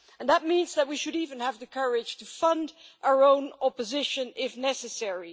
That means that we should even have the courage to fund our own opposition if necessary.